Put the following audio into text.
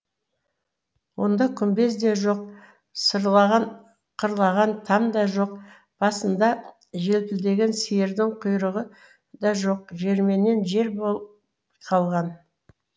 онда күмбез де жоқ сырлаған қырлаған там да жоқ басында желпілдеген сиырдың құйрығы да жоқ жерменен жер болып қалған